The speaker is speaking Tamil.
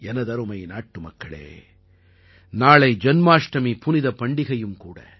எனதருமை நாட்டு மக்களே நாளை ஜன்மாஷ்டமி புனிதப் பண்டிகையும் கூட